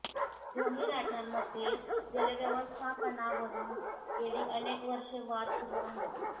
दोन्ही राज्यांमध्ये जलव्यवस्थापणावरुन गेली अनेक वर्षे वाद सुरु आहेत